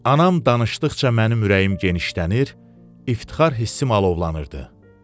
Anam danışdıqca mənim ürəyim genişlənir, iftixar hissim alovlanırdı.